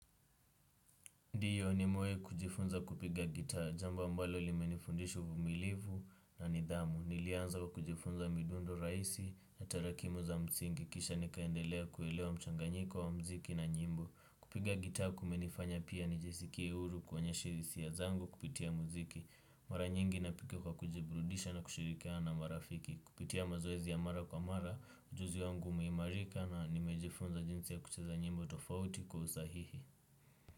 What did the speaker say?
Ndiyo nimewahi kujifunza kupiga gitaa, jambo ambalo limenifundisha uvumilivu na nidhamu, nilianza kujifunza midundo rahisi na tarakimu za msingi, kisha nikaendelea kuelewa mchanganyiko wa mziki na nyimbo. Kupiga gitaa kumenifanya pia nijisikie huru kuonyesha hisia zangu kupitia mziki, mara nyingi napike kwa kujiburudisha na kushirikiana na marafiki, kupitia mazoezi ya mara kwa mara, ujuzi wangu umeimarika na nimejifunza jinsi ya kucheza nyimbo tofauti kwa usahihi.